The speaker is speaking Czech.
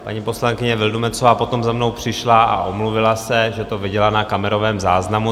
Paní poslankyně Vildumetzová potom za mnou přišla a omluvila se, že to viděla na kamerovém záznamu.